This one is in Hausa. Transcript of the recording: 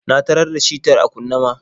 Na tarar da shitar a kunne ma.